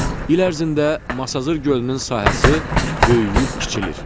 İl ərzində Masazır gölünün sahəsi böyüyüb kiçilir.